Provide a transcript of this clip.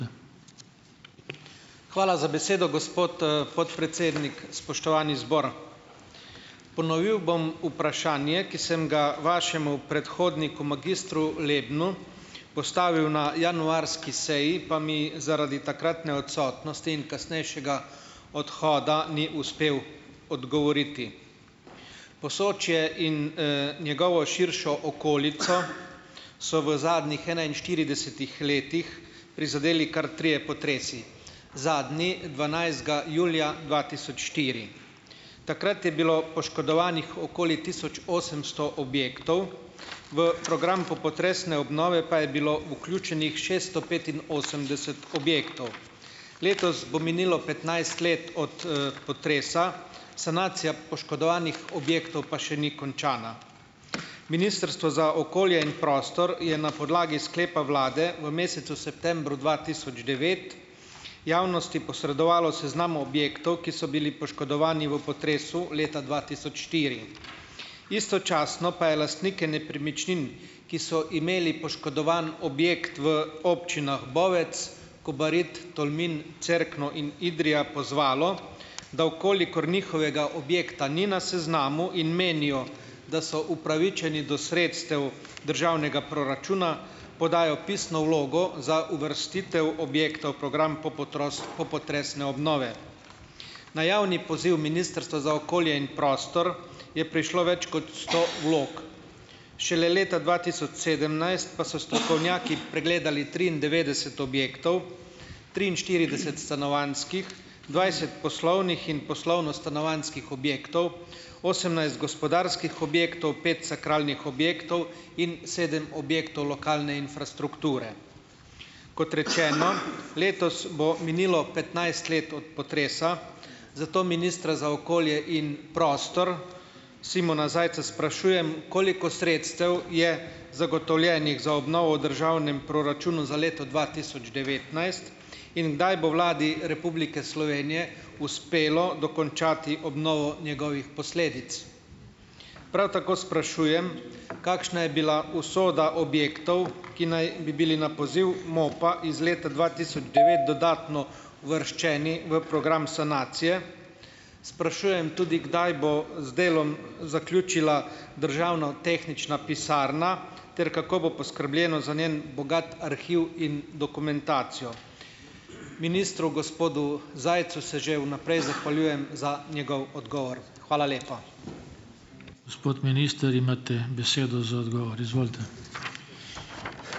Hvala za besedo, gospod, podpredsednik, spoštovani zbor. Ponovil bom vprašanje, ki sem ga vašemu predhodniku, magistru Lebnu postavil na januarski seji, pa mi zaradi takratne odsotnosti in kasnejšega odhoda, ni uspel odgovoriti. Posočje in njegovo širšo okolico so v zadnjih enainštiridesetih letih prizadeli kar trije potresi, zadnji dvanajstega julija dva tisoč štiri. Takrat je bilo poškodovanih okoli tisoč osemsto objektov, v program popotresne obnove pa je bilo vključenih šeststo petinosemdeset objektov. Letos bo minilo petnajst let od, potresa, sanacija poškodovanih objektov pa še ni končana. Ministrstvo za okolje in prostor je na podlagi sklepa vlade v mesecu septembru dva tisoč devet javnosti posredovalo seznam objektov, ki so bili poškodovani v potresu leta dva tisoč štiri. Istočasno pa je lastnike nepremičnin, ki so imeli poškodovan objekt v občinah Bovec, Kobarid, Tolmin, Cerkno in Idrija pozvalo, da v kolikor njihovega objekta ni na seznamu in menijo, da so upravičeni do sredstev državnega proračuna, podajo pisno vlogo za uvrstitev objekta v program popotresne obnove. Na javni poziv Ministrstva za okolje in prostor je prišlo več kot sto vlog. Šele leta dva tisoč sedemnajst pa so strokovnjaki pregledali triindevetdeset objektov, triinštirideset stanovanjskih, dvajset poslovnih in poslovno-stanovanjskih objektov, osemnajst gospodarskih objektov, pet sakralnih objektov in sedem objektov lokalne infrastrukture. Kot rečeno, letos bo minilo petnajst let od potresa, zato ministra za okolje in prostor, Simona Zajca sprašujem, koliko sredstev je zagotovljenih za obnovo v državnem proračunu za leto dva tisoč devetnajst in kdaj bo Vladi Republike Slovenije uspelo dokončati obnovo njegovih posledic. Prav tako sprašujem, kakšna je bila usoda objektov, ki naj bi bili na poziv MOP-a iz leta dva tisoč devet dodatno uvrščeni v program sanacije. Sprašujem tudi, kdaj bo z delom zaključila Državna tehnična pisarna ter kako bo poskrbljeno za njen bogat arhiv in dokumentacijo. Ministru gospodu Zajcu se že vnaprej zahvaljujem za njegov odgovor. Hvala lepa.